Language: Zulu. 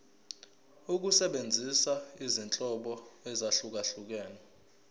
ukusebenzisa izinhlobo ezahlukehlukene